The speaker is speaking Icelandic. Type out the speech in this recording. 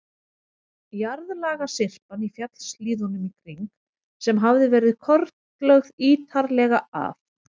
Jarðlagasyrpan í fjallshlíðunum í kring, sem hafði verið kortlögð ítarlega af